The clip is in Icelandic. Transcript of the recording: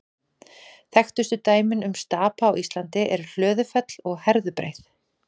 Þekktustu dæmin um stapa á Íslandi eru Hlöðufell og Herðubreið.